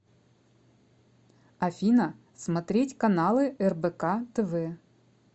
афина смотреть каналы рбк тв